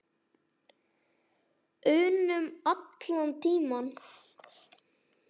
unum allan tímann.